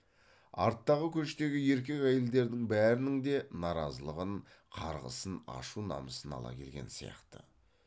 арттағы көштегі еркек әйелдердің бәрінің де наразылығын қарғысын ашу намысын ала келген сияқты